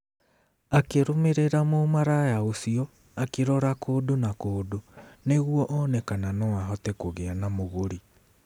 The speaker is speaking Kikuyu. Akĩrũmĩrĩra mũmaraya ũcio akĩrora kũndũ na kũndũ nĩguo one kana no ahote kũgĩa na mũgũri.